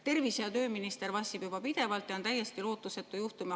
Tervise‑ ja tööminister vassib juba pidevalt ja on täiesti lootusetu juhtum.